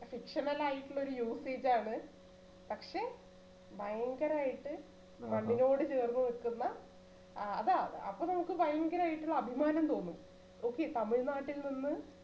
fictional ആയിട്ടുള്ള usage ആണ് പക്ഷെ ഭയങ്കരയിട്ട് മണ്ണിനോട് ചേർന്ന് നിക്കുന്ന ആഹ് അതാ അപ്പൊ നമുക്ക് ഭയങ്കരായിട്ടുള്ള അഭിമാനം തോന്നും okay തമിഴ്‌നാട്ടിൽനിന്നു